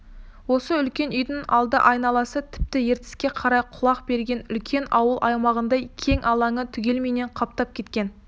осы үлкен үйдің алды айналасы тіпті ертіске қарай құлай берген үлкен ауыл аймағындай кең алаңы түгелімен қаптап кеткен